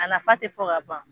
A nafa te fɔ ka ban.